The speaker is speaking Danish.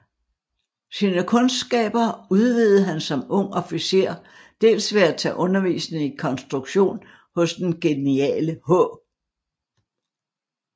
Sine kundskaber udvidede han som ung officer dels ved at tage undervisning i konstruktion hos den geniale H